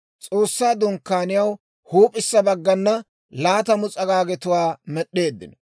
S'oossaa Dunkkaaniyaw huup'issa baggana laatamu s'agaagetuwaa med'd'eeddino.